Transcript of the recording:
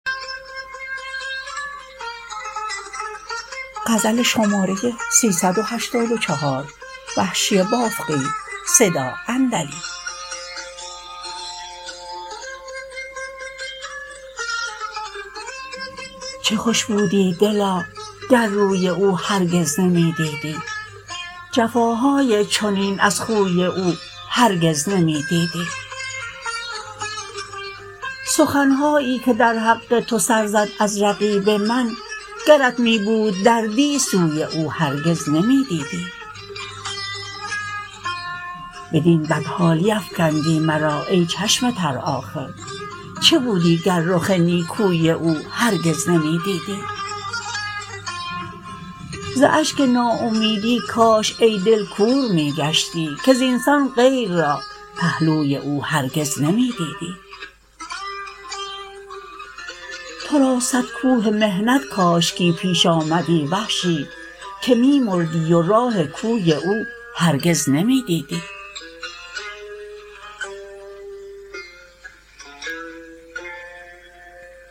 چه خوش بودی دلا گر روی او هرگز نمی دیدی جفاهای چنین از خوی او هرگز نمی دیدی سخن هایی که در حق تو سر زد از رقیب من گرت می بود دردی سوی او هرگز نمی دیدی بدین بد حالی افکندی مرا ای چشم تر آخر چه بودی گر رخ نیکوی او هرگز نمی دیدی ز اشک ناامیدی کاش ای دل کور می گشتی که زینسان غیر را پهلوی او هرگز نمی دیدی ترا صد کوه محنت کاشکی پیش آمدی وحشی که می مردی و راه کوی او هرگز نمی دیدی